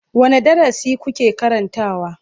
Wane darasi kuke karantawa?